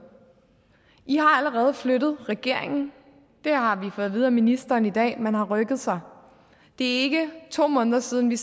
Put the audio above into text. i har allerede flyttet regeringen det har vi fået at vide af ministeren i dag man har rykket sig det er ikke to måneder siden vi